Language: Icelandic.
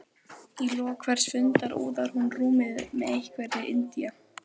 Í lok hvers fundar úðar hún rúmið með einhverri indía